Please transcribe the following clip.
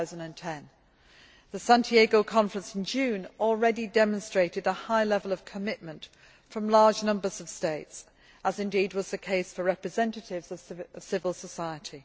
2010. The Santiago conference in June already demonstrated a high level of commitment from large numbers of states, as indeed was the case for representatives of civil society.